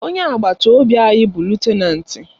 Onye agbata obi anyị bụ lutenanti